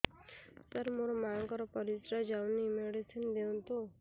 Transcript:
ସାର ମୋର ମାଆଙ୍କର ପରିସ୍ରା ଯାଉନି ମେଡିସିନ ଦିଅନ୍ତୁ